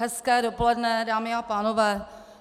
Hezké dopoledne, dámy a pánové.